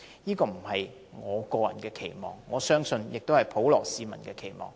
這不只是我個人期望，我相信也是普羅市民的期望。